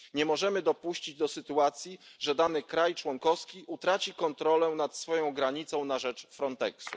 Nie możemy dopuścić do sytuacji, w której dany kraj członkowski utraci kontrolę nad swoją granicą na rzecz Frontexu.